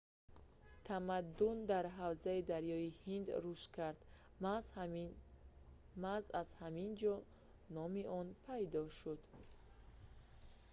тамаддун дар ҳавзаи дарёи ҳинд рушд кард маҳз аз ҳаминҷо номи он пайдо шуд